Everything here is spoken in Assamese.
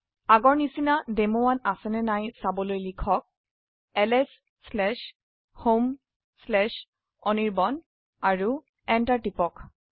আগৰ নিচিনা ডেমো1 আছে না নাই চাবলৈ লিখক lshomeআনিৰ্বাণ আৰু এন্টাৰ টিপক